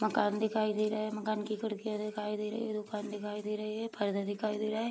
मकान दिखाई दे रहा है मकान की खिड़कियां दिखाई दे रही है दुकान दिखाई दे रही है परदा दिखाई दे रहा है।